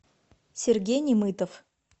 сергей немытов